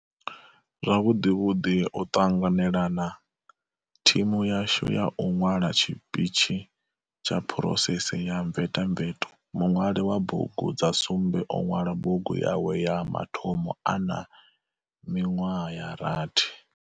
Zwavhuḓivhuḓi o ṱanganela na thimu yashu ya u ṅwala tshipitshi kha phurosese ya mvetamveto. Muṅwali wa bugu dza sumbe o ṅwala bugu yawe ya mathomo a na miṅwaha ya rathi.